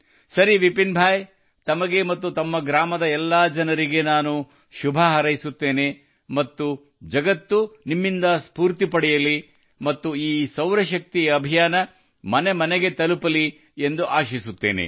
ಸರಿ ವಿಪಿನ್ ಭಾಯಿ ತಮಗೆ ಮತ್ತು ತಮ್ಮ ಗ್ರಾಮದ ಎಲ್ಲಾ ಜನರಿಗೆ ನಾನು ಶುಭ ಹಾರೈಸುತ್ತೇನೆ ಮತ್ತು ಜಗತ್ತು ನಿಮ್ಮಿಂದ ಸ್ಫೂರ್ತಿ ಪಡೆಯಲಿ ಮತ್ತು ಈ ಸೌರಶಕ್ತಿ ಅಭಿಯಾನವು ಮನೆ ಮನೆಗೆ ತಲುಪಲಿ ಎಂದು ಆಶಿಸುತ್ತೇನೆ